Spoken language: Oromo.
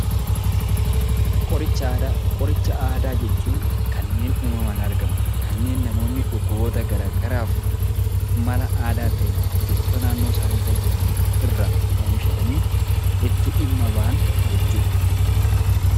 Qoricha aadaa Qoricha aadaa jechuun kanneen uumamaan argaman, kanneen namoonni dhukkuboota garaagaraaf mala aadaa ta'een biqiltoota naannoo isaaniirra jiran irraa oomishatanii itti dhimma ba'an jechuu dha.